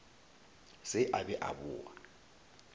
se a be a boa